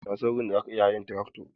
Na san wurin da za ka iya hayan trakto.